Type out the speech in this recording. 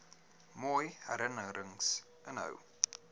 mooi herinnerings inhou